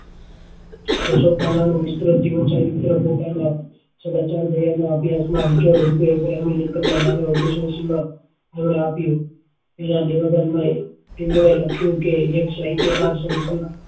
સો સો પાના નું વિસ્તૃત જીવન ચરિત્ર પોતાના ઓગણીસો એંસી માં એમને આપ્યું એમના નિવેદન માં એમને લખ્યું કે લોક સાહિત્ય કાર છું પણ